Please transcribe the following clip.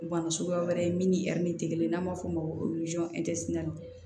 Bana suguya wɛrɛ min ni min te kelen ye n'a m'a fɔ o ma ko